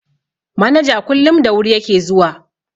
Manaja kullum da wuri ya ke zuwa.